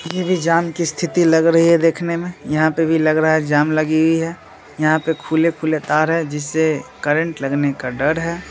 ये भी जाम की स्थिति लग रही है देखने में यहाँ पे भी लग रहा है जाम लगी हुई है यहाँ पे खुले-खुले तार है जिससे करंट लगने का डर है।